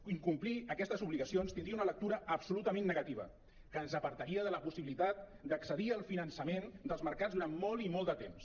incomplir aquestes obligacions tindria una lectura absolutament negativa que ens apartaria de la possibilitat d’accedir al finançament dels mercats durant molt i molt de temps